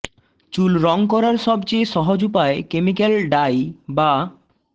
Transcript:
চুল রং করার সবচেয়ে সহজ উপায় কেমিক্যাল ডাই বা